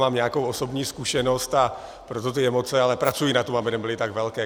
Mám nějakou osobní zkušenost, a proto ty emoce, ale pracuji na tom, aby nebyly tak velké.